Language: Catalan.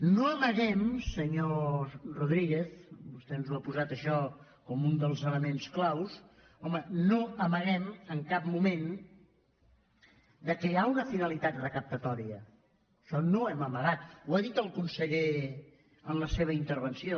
no amaguem senyor rodríguez vostè ens ha posat això com un dels elements clau home no amaguem en cap moment que hi ha una finalitat recaptadora això no ho hem amagat ho ha dit el conseller en la seva intervenció